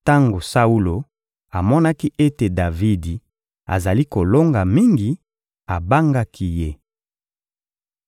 Tango Saulo amonaki ete Davidi azali kolonga mingi, abangaki ye.